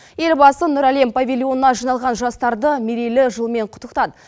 елбасы нұр әлем павильонына жиналған жастарды мерейлі жылмен құттықтады